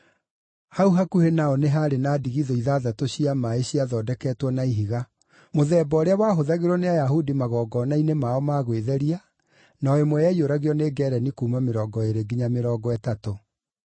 Hau hakuhĩ nao nĩ haarĩ na ndigithũ ithathatũ cia maaĩ ciathondeketwo na ihiga, mũthemba ũrĩa wahũthagĩrwo nĩ Ayahudi magongona-inĩ mao ma gwĩtheria, na o ĩmwe yaiyũragio nĩ ngeereni kuuma mĩrongo ĩĩrĩ nginya mĩrongo ĩtatũ.